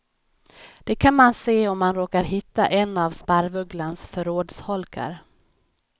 Det kan man se om man råkar hitta en av sparvugglans förrådsholkar.